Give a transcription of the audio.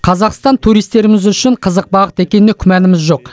қазақстан туристеріміз үшін қызық бағыт екеніне күмәніміз жоқ